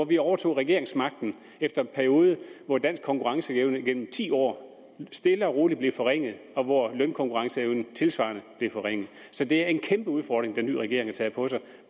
vi overtog regeringsmagten efter en periode hvor dansk konkurrenceevne gennem ti år stille og roligt blev forringet og hvor lønkonkurrenceevnen tilsvarende blev forringet så det er en kæmpe udfordring den nye regering har taget på sig